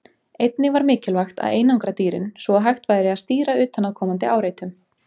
Einnig var mikilvægt að einangra dýrin, svo að hægt væri að stýra utanaðkomandi áreitum.